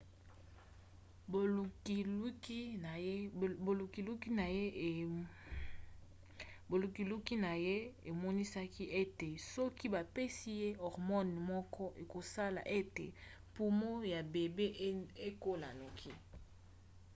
bolukiluki na ye emonisaki ete soki bapesi ye hormone moko ekosala ete pumo ya bebe ekola noki